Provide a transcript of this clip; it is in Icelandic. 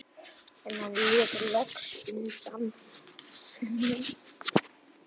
En hann lét loks undan.